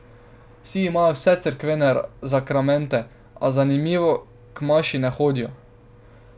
Vsi imajo vse cerkvene zakramente, a, zanimivo, k maši ne hodijo.